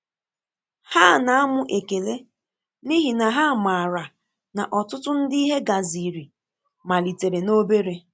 Ha na amụ ekele, n’ihi na ha maara na ọtụtụ ndị ihe gaziri malitere n'obere.